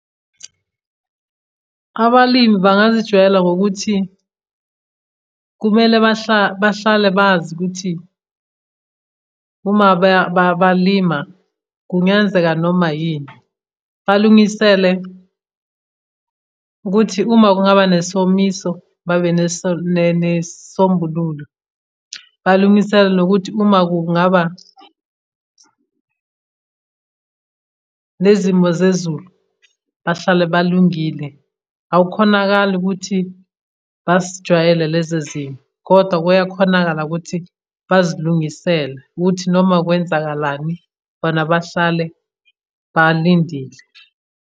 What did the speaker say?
Abalimi bangazijwayela ngokuthi kumele bahlale bazi ukuthi uma balima kungenzeka noma yini. Balungisele ukuthi uma kungaba nesomiso babe nesombululo. Balungisele nokuthi uma kungaba nezimo zezulu bahlale balungile. Awukhonakali ukuthi basijwayele lezo zimo, kodwa kuyakhonakala ukuthi bazilungisele ukuthi noma kwenzakalani bona bahlale balindile.